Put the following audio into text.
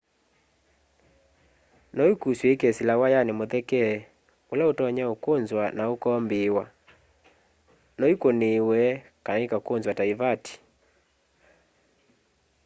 no ikusw'e ikesila wayani mutheke ula utonya ukunzwa na ukombiiwa no ikuniiwe kana ikakunzwa ta ivati